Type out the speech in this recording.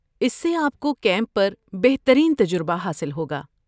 اس سے آپ کو کیمپ پر بہترین تجربہ حاصل ہوگا۔